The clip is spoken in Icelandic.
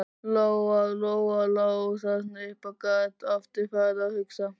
Lóa Lóa lá þarna uppi og gat aftur farið að hugsa.